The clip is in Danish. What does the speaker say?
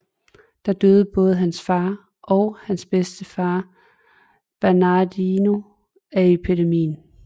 Der døde både hans far og hans bedstefar Bernardino af epidemien